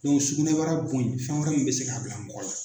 sugunɛbara bon in fɛn wɛrɛ min bɛ se k'a bila mɔgɔ la.